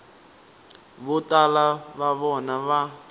vo tala va vona va